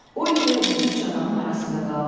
Oliver bu üç adamın arasında qalmışdı.